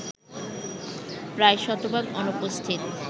প্রায় শতভাগ অনুপস্থিত